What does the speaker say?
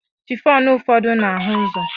Chifọn ụfọdụ na-ahụ ụzọ